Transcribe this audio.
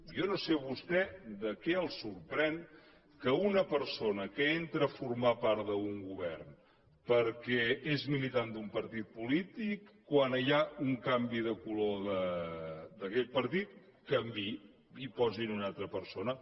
jo no sé vostè per què se sorprèn que una persona que entra a formar part d’un govern perquè és militant d’un partit polític quan hi ha un canvi de color d’aquell partit canviï i posin una altra persona